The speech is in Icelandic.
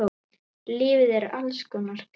Lífið er alls konar grámi.